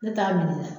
Ne t'a minɛ dɛ